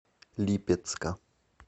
липецка